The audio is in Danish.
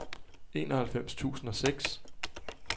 enoghalvfems tusind og seks